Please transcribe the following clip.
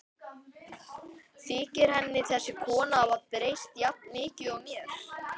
Þykir henni þessi kona hafa breyst jafn mikið og mér?